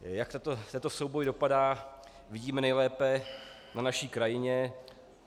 Jak tento souboj dopadá, vidíme nejlépe na naší krajině.